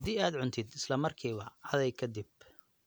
Haddii aad cuntid, isla markiiba caday ka dib.